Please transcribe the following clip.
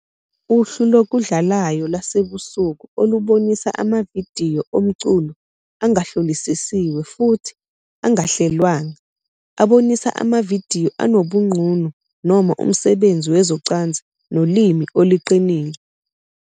Uhlu lokudlalayo lwasebusuku olubonisa amavidiyo omculo angahlolisisiwe futhi angahlelwanga, abonisa amavidiyo anobunqunu noma umsebenzi wezocansi nolimi oluqinile.